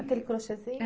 Aquele crochêzinho?